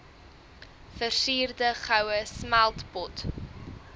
versierde goue smeltpot